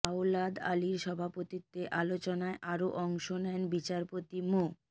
আওলাদ আলীর সভাপতিত্বে আলোচনায় আরও অংশ নেন বিচারপতি মো